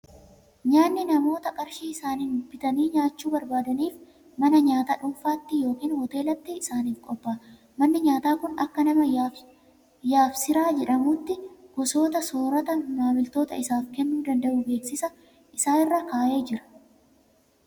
Nyaatni namoota qarshii isaaniin bitanii nyaachuu barbaadaniif, mana nyaataa dhuunfaatti yookiin hooteelatti isaaniif qophaa'a. Manni nyaataa kun kan nama Yaabsiraa jedhamuuti. Gosoota soorataa maamiltoota isaaf kennuu danda'u beeksisa isaa irra kaa'ee jira.